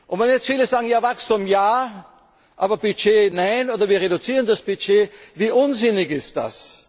Wenn jetzt viele sagen Wachstum ja, aber Budget nein, oder wir reduzieren das Budget, wie unsinnig ist